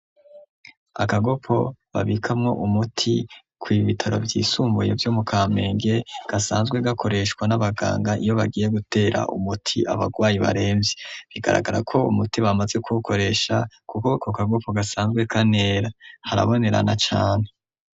Akagopo babikamwo umuti ku bitaro by'isumbuye vyo mu kamenge gasanzwe gakoreshwa n'abaganga iyo bagiye gutera umuti abagwayi baremvye bigaragara ko umuti bamaze kuwokoresha kuko ku kagopo gasanzwe kanera harabonerana cane.